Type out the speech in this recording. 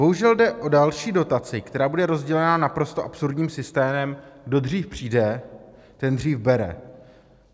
Bohužel jde o další dotaci, která bude rozdělena naprosto absurdním systémem - kdo dřív přijde, ten dřív bere.